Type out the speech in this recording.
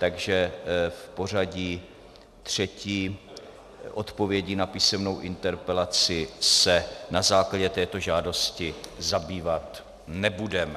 Takže v pořadí třetí odpovědí na písemnou interpelaci se na základě této žádosti zabývat nebudeme.